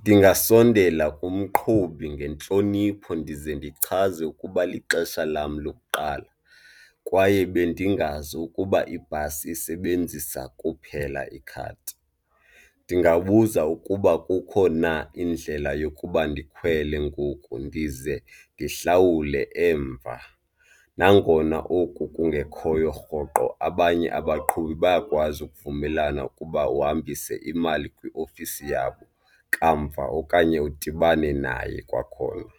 Ndingasondela kumqhubi ngentlonipho ndize ndichaze ukuba lixesha lam lokuqala kwaye bendingazi ukuba ibhasi isebenzisa kuphela ikhadi. Ndingabuza ukuba kukho na indlela yokuba ndikhwele ngoku ndize ndihlawule emva nangona oku kungekhoyo rhoqo. Abanye abaqhubi bayakwazi ukuvumelana ukuba uhambise imali kwiofisi yabo kamva okanye udibane naye kwakhona.